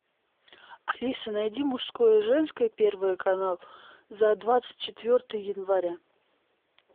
алиса найди мужское женское первый канал за двадцать четвертое января